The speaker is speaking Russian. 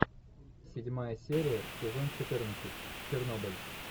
седьмая серия сезон четырнадцать чернобыль